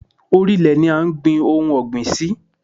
Orí ilẹ̀ ni à ń gbin ohun ọ̀gbìn sí.